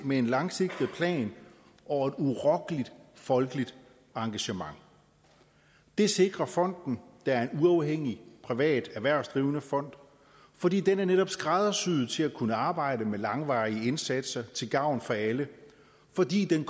med en langsigtet plan og et urokkeligt folkeligt engagement det sikrer fonden der er en uafhængig privat erhvervsdrivende fond fordi den netop er skræddersyet til at kunne arbejde med langvarige indsatser til gavn for alle fordi den